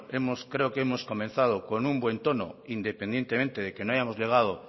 bueno hemos creo que hemos comenzado con un buen tono independientemente de que no hayamos llegado